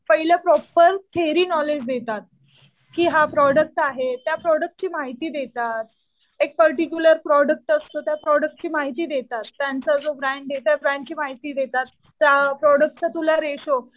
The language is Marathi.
पहिले प्रॉपर थेरी नॉलेज देतात. कि हा प्रॉडक्ट आहे. त्या प्रॉडक्टची माहिती देतात. ऐक पर्टिक्युलर प्रोडक्ट असतो. त्या प्रॉडक्टची माहिती देतात. त्यांचा जो ब्रँड आहे त्या ब्रॅण्डची माहिती देतात. त्या प्रोडक्टचा तुला रेशो